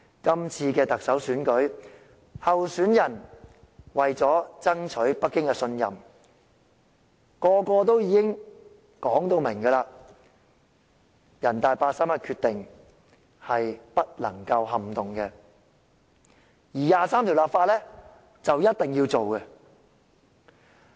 這次特首選舉，候選人為了爭取北京的信任，每一位都明言人大常委會八三一決定是不能撼動的，而就《基本法》第二十三條立法更是事在必行。